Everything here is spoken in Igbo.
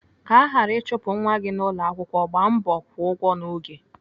Ka aghara ịchụpụ nwa gị n'ụlọakwụkwọ, gbaa mbọ kwụọ ụgwọ n'oge.